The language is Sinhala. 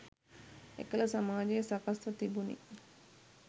එකල සමාජය සකස්ව තිබුණි.